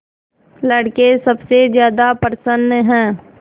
लड़के सबसे ज्यादा प्रसन्न हैं